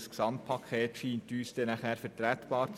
Das Gesamtpaket scheint für uns vertretbar.